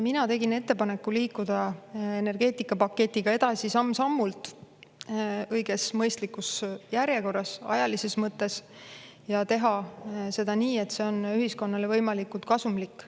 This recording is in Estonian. Mina tegin ettepaneku liikuda energeetikapaketiga edasi samm-sammult: õiges, mõistlikus järjekorras ajalises mõttes ja teha seda nii, et see on ühiskonnale võimalikult kasumlik.